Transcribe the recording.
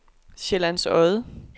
Sjællands Odde